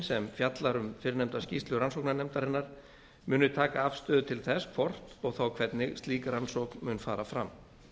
sem fjallar um fyrrnefnda skýrslu rannsóknarnefndarinnar muni taka afstöðu til þess hvort og þá hvernig slík rannsókn mun fara fram